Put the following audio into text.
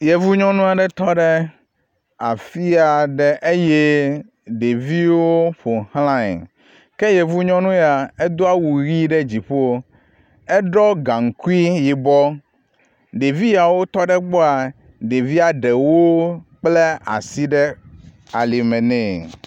Yevu nyɔnua ɖe tɔ ɖe afia ɖe eye ɖeviwo ƒo ʋlae, ke yevu nyɔnu ya edo awu ʋi ɖe dziƒo, eɖɔ gaŋkui yibɔ, ɖevi yawo tɔ ɖe gbɔa, ɖevia ɖewo kpla asi ɖe alime nɛ.